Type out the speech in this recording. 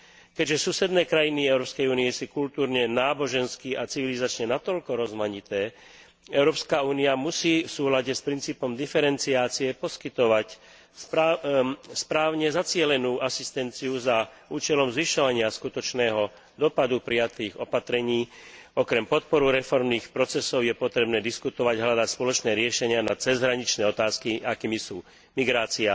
Keďže susedné krajiny Európskej únie sú kultúrne, nábožensky a civilizačne natoľko rozmanité, Európska únia musí v súlade s princípom diferenciácie poskytovať správne zacielenú asistenciu za účelom zvyšovania skutočného dosahu prijatých opatrení. Okrem podpory reformných procesov je potrebné diskutovať, hľadať spoločné riešenia na cezhraničné otázky, akými sú migrácia,